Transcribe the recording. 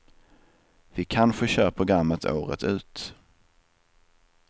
Vi kanske kör programmet året ut.